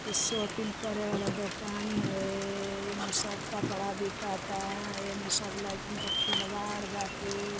इ शोपिंग करे वाला दुकानी है एमए सब कपड़ा बिकाता एमे सब लइकन के खिलवाड़ बाटे।